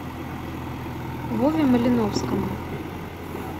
вове малиновскому